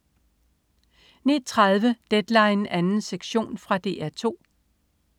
09.30 Deadline 2. sektion. Fra DR 2